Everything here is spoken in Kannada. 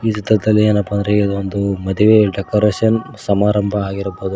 ಇತತಃ ಏನಪ್ಪಾ ಅಂಥ ಅಂದ್ರೆ ಇದು ಒಂದು ಮದುವೆ ಡೆಕೊರೇಷನ್ ಸಮಾರಂಭ ಆಗಿರಬಹುದು.